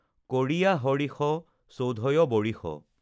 কৰিয়া হৰিষ, চৌধয় বৰিষ,